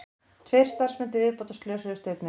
Tveir starfsmenn til viðbótar slösuðust einnig